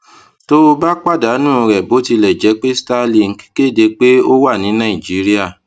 tó o bá pàdánù rẹ bó tilẹ jẹ pé starlink kéde pé ó wà ní nàìjíríà